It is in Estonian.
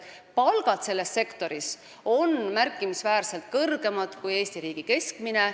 Palgad selles sektoris on märkimisväärselt kõrgemad kui Eesti riigi keskmine.